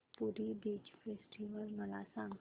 पुरी beach festival मला सांग